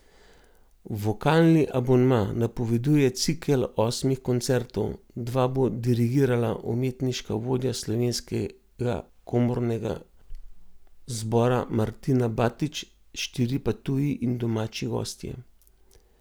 Vokalni abonma napoveduje cikel osmih koncertov, dva bo dirigirala umetniška vodja Slovenskega komornega zbora Martina Batič, štiri pa tuji in domači gostje.